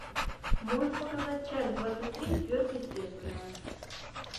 можешь показать часть двадцать три сверхъестественное